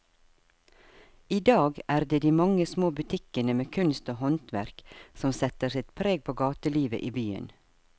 I dag er det de mange små butikkene med kunst og håndverk som setter sitt preg på gatelivet i byen.